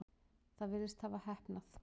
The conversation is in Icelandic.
Það virðist hafa heppnað.